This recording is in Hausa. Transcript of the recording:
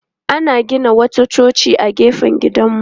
Ana gina wata coci a gefen gidanmu.